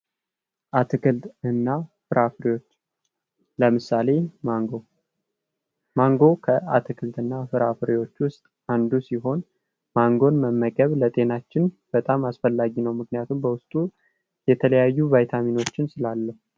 አትክልትና ፍራፍሬ ለምሳሌ ማንጎ፦ ማንጎ ከአትክልትና ፍራፍሬዎ ውስጥ አንዱ ሲሆን ማንጎን መመገብ ለጤናችን በጣም አስፈላጊ ነው ምክንያቱም የተለያዩ ቫይታሚኖችን ስላለው።